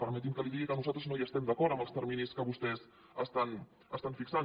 permeti’m que li digui que nosaltres no hi estem d’acord amb els terminis que vostès estan fixant